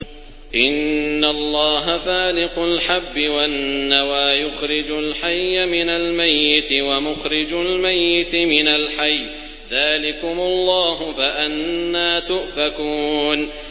۞ إِنَّ اللَّهَ فَالِقُ الْحَبِّ وَالنَّوَىٰ ۖ يُخْرِجُ الْحَيَّ مِنَ الْمَيِّتِ وَمُخْرِجُ الْمَيِّتِ مِنَ الْحَيِّ ۚ ذَٰلِكُمُ اللَّهُ ۖ فَأَنَّىٰ تُؤْفَكُونَ